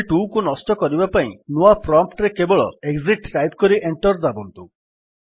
shell 2କୁ ନଷ୍ଟ କରିବା ପାଇଁ ନୂଆ ପ୍ରମ୍ପ୍ଟ୍ ରେ କେବଳ ଏକ୍ସିଟ୍ ଟାଇପ୍ କରି ଏଣ୍ଟର୍ ଦାବନ୍ତୁ